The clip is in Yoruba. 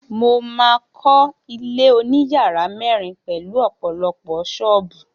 Mo máa kọ́ ilé oníyàrá mẹ́rin pelu ọ̀pọ̀lọpọ̀ ṣọ́ọ̀bù